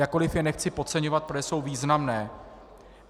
Jakkoliv je nechci podceňovat, protože jsou významné.